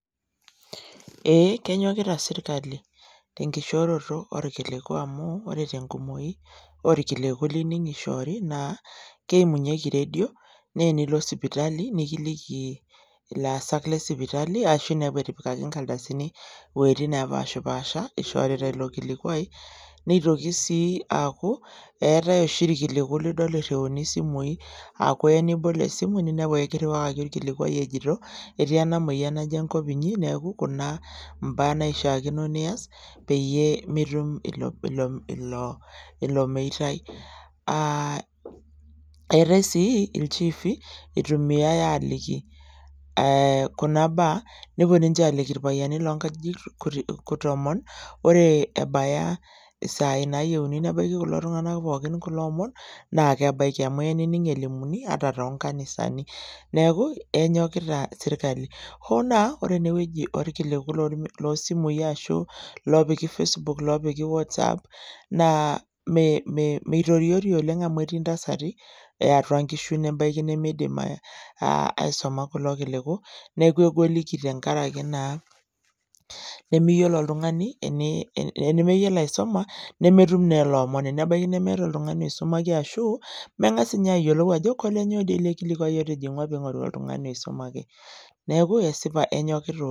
Ee kenyokita sirkali , ore tenkumoi orkiliku lining ishori naa keimunyieki redio , naa tenilo sipitali nikiliki ilaasak lesipitali ashu inepu etipikaki inkarasini iwuetin nepashapasha ishorita ilo kilikwai , nitoki si aaku eetae oshi irkiliku nidol iriuni isimui ninepu orkilikwai ejito ketii enamoyian naje enkop inyi naa kuna mbaa naishaakino nias peyie mitum meitai , eetae si ilchifi itumia aliki irkiliku , nepuo ninche aliki , ore ebaya isai nalikini kulo tunganak kulo omon naa kebaiki amu eya nining elimuni toonkanisani niaku enyokita sirkali , hoo naa ore enewueji nepiki irkiliku anaa facebook , whatsapp naa meitoriori oleng amu etii ntasati eatua nkishu nebaiki nemeidim aisuma kulo kiliku, neku egoliki tenkaraki nemeyiolo oltungani.